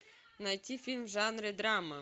найти фильм в жанре драма